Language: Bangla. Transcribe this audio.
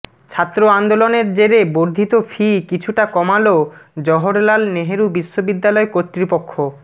ছাত্র আন্দোলনের জেরে বর্ধিত ফি কিছুটা কমাল জওহরলাল নেহরু বিশ্ববিদ্যালয় কর্তৃপক্ষ